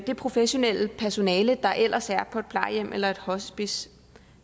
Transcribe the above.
det professionelle personale der ellers er på et plejehjem eller et hospice